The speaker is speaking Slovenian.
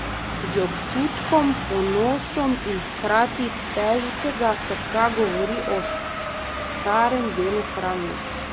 Z občutkom, ponosom in hkrati težkega srca govori o starem delu Kranja.